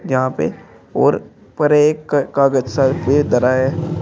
यहां पे और ऊपर एक कागज सा दे धरा है।